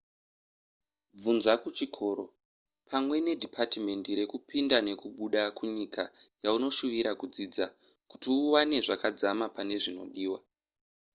bvunza kuchikoro pamwe nedhipatimendi rekupinda nekubuda kunyika yaunoshuvira kudzidza kuti uwane zvakadzamapane zvinodiwa